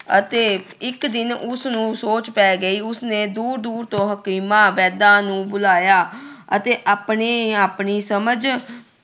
ਅਤੇ ਇੱਕ ਦਿਨ ਉਸ ਨੂੰ ਸੋਚ ਪੈ ਗਈ। ਉਸ ਨੇ ਦੂਰ-ਦੂਰ ਤੋਂ ਹਕੀਮਾਂ, ਵੈਦਾਂ ਨੂੰ ਬੁਲਾਇਆ ਅਤੇ ਆਪਣੀ ਆਪਣੀ ਸਮਝ